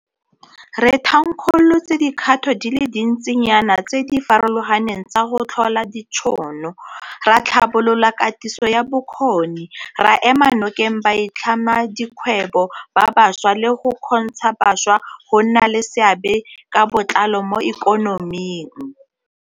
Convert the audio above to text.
Re thankgolotse dikgato di le dintsinyana tse di farologaneng tsa go tlhola ditšhono, ra tlhabolola katiso ya bokgoni, ra ema nokeng baitlhamedikgwebo ba bašwa le go kgontsha bašwa go nna le seabe ka botlalo mo ikonoming.